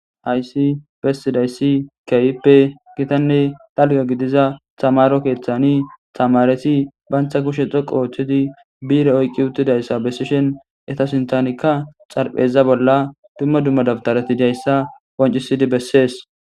hayssi bessidayssi keyippe gitanne dalga gidiza tamaro keeththani tamareti bantha kushe xoqo ooththidi biire oyqqi uttidayssa bessishen eta sintanikka xarpheza bolla dumma dumma dabtareti diayssa qoncisidi bessees